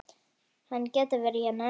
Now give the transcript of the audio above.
Hann getur verið hérna ennþá.